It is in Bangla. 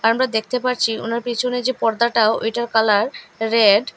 আমরা দেখতে পারছি ওনার পেছনে যে পর্দাটাও ওইটার কালার রেড ।